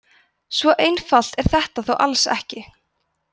svo einfalt er þetta þó alls ekki